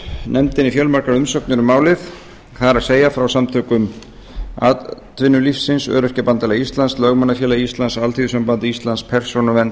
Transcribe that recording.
nefndinni fjölmargar umsagnir um málið það er frá samtökum atvinnulífsins öryrkjabandalagi íslands lögmannafélagi íslands alþýðusambandi íslands persónuvernd